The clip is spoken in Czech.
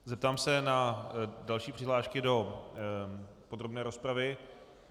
Zeptám se na další přihlášky do podrobné rozpravy.